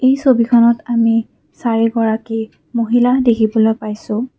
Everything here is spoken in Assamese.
এই ছবিখনত আমি চাৰি গৰাকী মহিলা দেখিবলৈ পাইছোঁ।